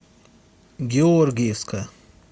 георгиевска